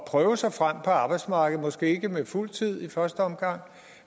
prøve sig frem på arbejdsmarkedet måske ikke på fuld tid i første omgang